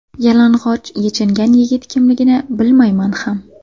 Yalang‘och yechingan yigit kimligini bilmayman ham.